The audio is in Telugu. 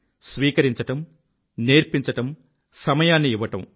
స్వీకరించడం నేర్పించడం సమయాన్ని ఇవ్వడం